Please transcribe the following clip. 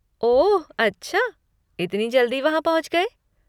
ओह अच्छा, इतनी जल्दी वहाँ पहुँच गए!